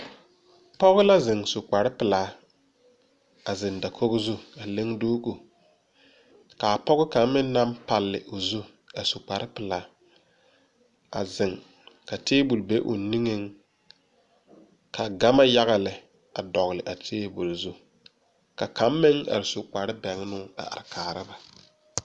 Pɔgɔ la zeng su kpare pelaa a zeng dakogo zu a le duuku kaa poɔ kang meng nang palle ɔ zu a su kpare pelaa a zeng kaa tabulo bɛ ɔ ninge ka gama yaga lɛ a dɔgli a tabuli zu ka kang meng arẽ su kpare bengnuũ a kaara ba.